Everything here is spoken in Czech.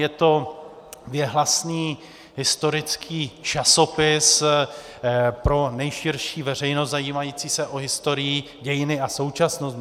Je to věhlasný historický časopis pro nejširší veřejnost zajímající se o historii, dějiny a současnost.